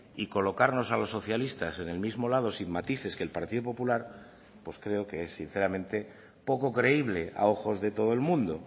y colocarnos a los socialistas en el mismo lado sin matices que el partido popular pues creo que es sinceramente poco creíble a ojos de todo el mundo